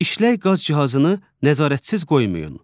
İşlək qaz cihazını nəzarətsiz qoymayın.